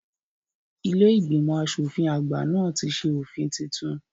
Ilé ìgbìmọ̀ asòfin àgbà náà ti ṣe òfin titun